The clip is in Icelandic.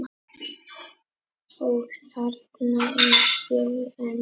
Og þarna er ég enn.